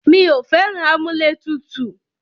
Mí ò fẹ́ràn amúlẹ̀tutù.